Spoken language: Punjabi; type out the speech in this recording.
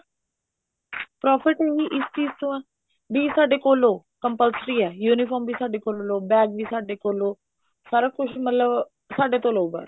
profit ਹੀ ਇਸ ਚੀਜ਼ ਚੋਂ ਆ ਵੀ ਸਾਡੇ ਕੋਲੋਂ ਲਓ compulsory ਹੈ uniform ਵੀ ਸਾਡੇ ਕੋਲੋਂ ਲਓ bag ਵੀ ਸਾਡੇ ਕੋਲੋਂ ਲਓ ਸਾਰਾ ਕੁੱਛ ਮਤਲਬ ਸਾਡੇ ਤੋਂ ਲਓ ਬੱਸ